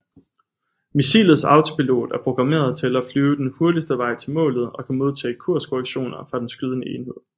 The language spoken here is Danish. Missilets autopilot er programmet til at flyve den hurtigste vej til målet og kan modtage kurskorrektioner fra den skydende enhed